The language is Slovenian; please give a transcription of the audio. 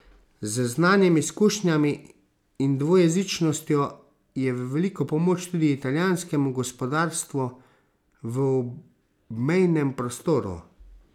Z znanjem, izkušnjami in dvojezičnostjo je v veliko pomoč tudi italijanskemu gospodarstvu v obmejnem prostoru.